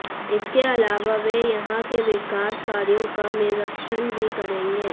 इसके अलावा वे यहां के विकास कार्यों का निरीक्षण भी करेंगे